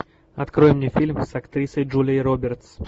открой мне фильм с актрисой джулией робертс